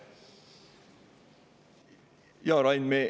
Jaa, Rain.